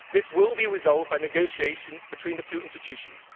This will be resolved by negotiation between the two institutions.